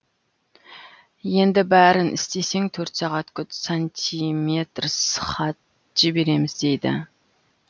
енді бәрін істесең төрт сағат күт сантиметрс хат жібереміз дейді